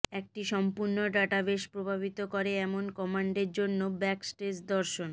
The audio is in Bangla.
একটি সম্পূর্ণ ডাটাবেস প্রভাবিত করে এমন কমান্ডের জন্য ব্যাকস্টেজ দর্শন